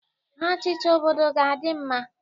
Ha chịcha, obodo ga-adị mma.